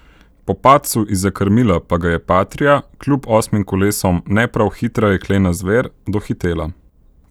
Po padcu izza krmila pa ga je patria, kljub osmim kolesom ne prav hitra jeklena zver, dohitela.